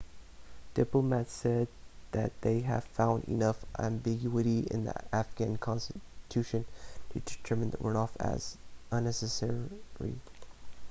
diplomats said that they had found enough ambiguity in the afghan constitution to determine the runoff as unnecessary